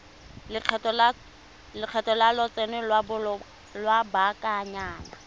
lekgetho la lotseno lwa lobakanyana